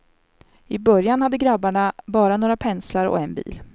I början hade grabbarna bara några penslar och en bil.